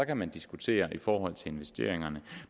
kan man diskutere i forhold til investeringerne